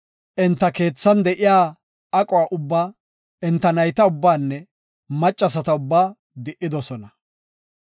Enta keethan de7iya aquwa ubba, enta nayta ubbaanne maccasata ubba di7idosona.